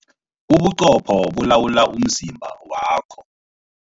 Ubuqopho bulawula umzimba wakho.